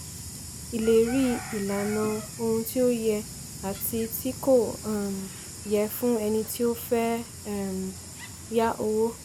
ìlérí - ìlànà ohun tí ó yẹ àti tí kò um yẹ fún ẹni tí ó fẹ́ um yá owó.